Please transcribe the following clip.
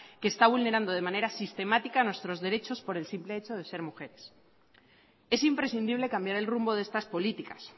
que está vulnerando de manera sistemática nuestros derechos por el simple hecho de ser mujeres es imprescindible cambiar el rumbo de estas políticas